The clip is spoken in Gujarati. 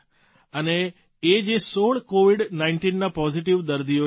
અને એ જે ૧૬ કોવીડ ૧૯ના પોઝીટવ દર્દીઓ છે